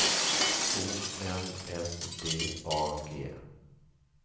O N S D A G